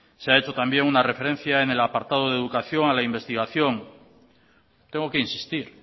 se ha hecho también una referencia en el apartado de educación a la investigación tengo que insistir